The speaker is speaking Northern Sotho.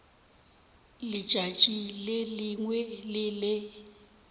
letšatši le lengwe le le